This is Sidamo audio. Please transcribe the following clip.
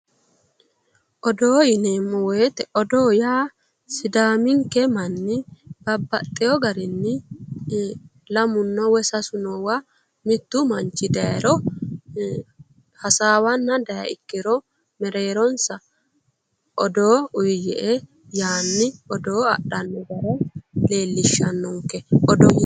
odoo yineemmowoyite odoo yaa sidaaminke manni babbaxxino garinni lamunna woyi sasu noowa mittu manchi dayiro hasaawanna dayikkiro mereeronsa odoo uyiyye''e yee odoo adhanno gara leellishshannonke odoo